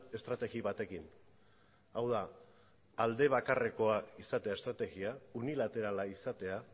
estrategia batekin hau da alde bakarrekoa izatea estrategia unilaterala izatea